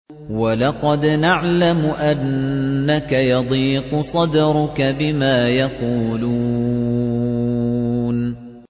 وَلَقَدْ نَعْلَمُ أَنَّكَ يَضِيقُ صَدْرُكَ بِمَا يَقُولُونَ